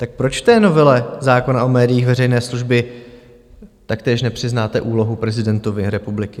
Tak proč v té novele zákona o médiích veřejné služby taktéž nepřiznáte úlohu prezidentovi republiky?